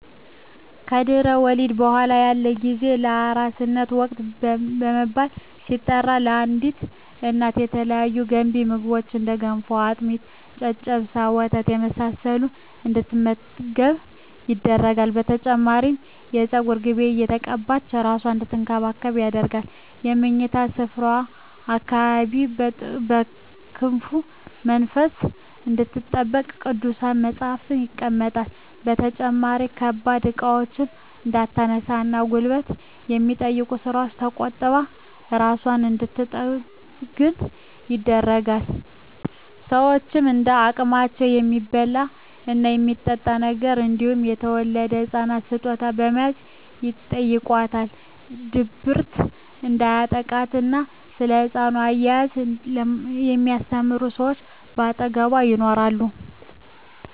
ከድህረ ወሊድ በኃላ ያለው ጊዜ የአራስነት ወቅት በመባል ሲጠራ ለአዲስ እናት የተለያዩ ገንቢ ምግቦች እንደ ገንፎ፣ አጥሚት፣ ጨጨብሳ፣ ወተት የመሳሰለውን እንድትመገብ ይደረጋል። በተጨማሪም የፀጉር ቅቤ እየተቀባች እራሷን አንድትንከባከብ ይደረጋል። በምኝታ ስፍራዋ አካባቢም ከክፉ መንፈስ እንድትጠበቅ ቅዱሳት መፀሃፍት ይቀመጣሉ። በተጨማሪም ከባድ እቃዎችን እንዳታነሳ እና ጉልበት ከሚጠይቁ ስራወች ተቆጥባ እራሷን እንድንትጠግን ይደረጋል። ሸወችም እንደ አቅማቸው የሚበላ እና የሚጠጣ ነገር እንዲሁም ለተወለደዉ ህፃን ስጦታ በመያዝ ይጨይቋታል። ድብርት እንዲያጠቃትም እና ስለ ህፃን አያያዝ የሚስተምሯት ሰወች ከአጠገቧ ይኖራሉ።